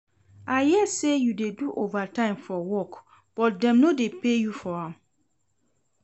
I hear say you dey do overtime for work but dem no dey pay you for am